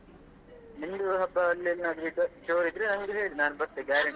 ನಿಮ್ದು ಹಬ್ಬ ಅಲ್ಲಿ ಎಲ್ಲಾದ್ರೂ ಜೋರ್ ಇದ್ರೆ ನಮ್ಗೆ ಹೇಳಿ ನಾನು ಬರ್ತೇನೆ guarantee ಬರ್ತೇನೆ.